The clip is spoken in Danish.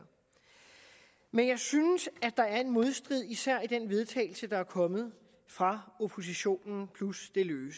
men jeg synes at der er en modstrid især i det forslag vedtagelse der er kommet fra oppositionen plus